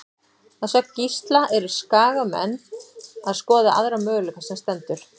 Að sögn Gísla eru Skagamenn að skoða aðra möguleika sem stendur.